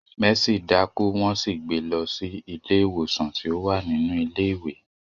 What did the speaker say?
Mercy daku won sì gbé lọ sí ilé ìwòsan ti o wa nínú ilé ìwé.